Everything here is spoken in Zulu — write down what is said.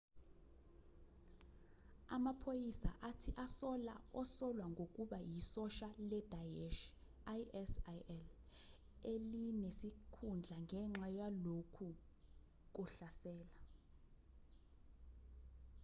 amaphoyisa athi asola osolwa ngokuba isosha ledaesh isil elinesikhundla ngenxa yalokhu kuhlasela